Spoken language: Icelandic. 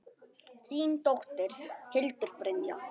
Þín dóttir, Hildur Brynja.